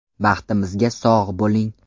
Baxtimizga sog‘ bo‘ling!